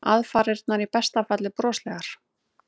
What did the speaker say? Aðfarirnar í besta falli broslegar.